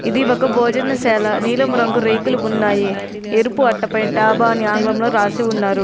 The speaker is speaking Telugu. ఇది ఒక భోజనశాల. నీలం రంగు రేకులు ఉన్నాయి. ఎరుపు అట్టపై డాబా అని ఆంగ్లంలో రాసి ఉన్నారు.